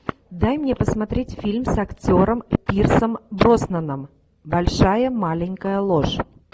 дай мне посмотреть фильм с актером пирсом броснаном большая маленькая ложь